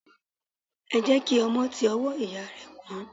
Ẹ jẹ́ kí ọmọ ti ọwọ́ ìyá rẹ̀ kú.